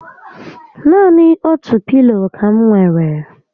Naani otu pilo ka m nwèrè